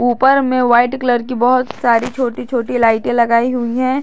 ऊपर मे white colour की बहुत सारी छोटी छोटी लाइटें लगाई हुई हैं।